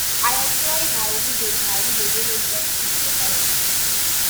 i employ na widows na widows wey no get who to helep